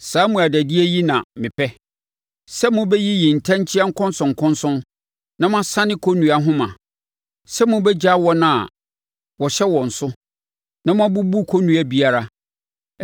“Saa mmuadadie yi na mepɛ: sɛ mobɛyiyi ntɛnkyea nkɔnsɔnkɔnsɔn na moasane kɔnnua nhoma, sɛ mobɛgyaa wɔn a wɔhyɛ wɔn so na moabubu kɔnnua biara.